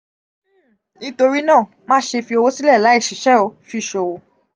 nitori naa ma ṣe fi owo silẹ laiṣiṣẹ́ o,fi sowo